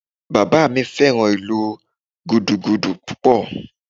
Bàbá mi fẹ́ràn ìlú Gúdúgúdú púpọ̀